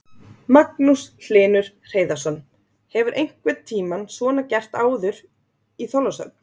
Magnús Hlynur Hreiðarsson: Hefur einhvern tímann svona gert áður í Þorlákshöfn?